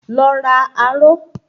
Lọ ra aró.